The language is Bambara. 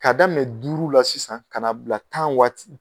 K'a daminɛ duuru la sisan ka n'a bila tan waati